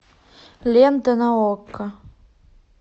лента на окко